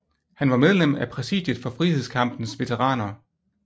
Han var medlem af præsidiet for Frihedskampens Veteraner